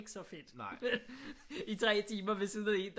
Ikke så fedt i 3 timer ved siden af en der